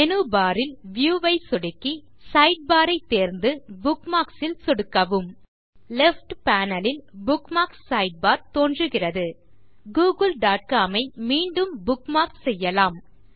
menu bar ல் view ஐ சொடுக்கி Sidebarஐத் தேர்ந்து புக்மார்க்ஸ் ல் சொடுக்கவும் லெஃப்ட் பேனல் ல் புக்மார்க்ஸ் சைட்பார் தோன்றுகிறது googleகாம் ஐ மீண்டும் புக்மார்க் செய்யலாம்